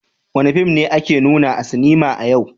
Wani fim ne ake nuna a sinema a yau?